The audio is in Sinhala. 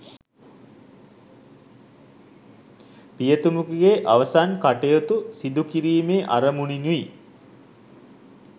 පියතුමෙකුගේ අවසන් කටයුතු සිදු කිරීමේ අරමුණිනුයි.